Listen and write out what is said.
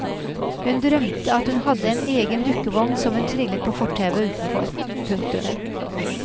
Hun drømte at hun hadde en egen dukkevogn som hun trillet på fortauet utenfor. punktum